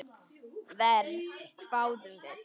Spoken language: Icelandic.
Verr, hváðum við.